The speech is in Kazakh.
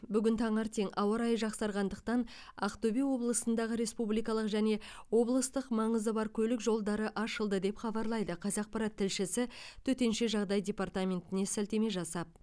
бүгін таңертең ауа райы жақсарғандықтан ақтөбе облысындағы республикалық және облыстық маңызы бар көлік жолдары ашылды деп хабарлайды қазақпарат тілшісі төтенше жағдай департаментіне сілтеме беріп